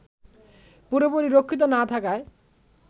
পুরোপুরি রক্ষিত না থাকায়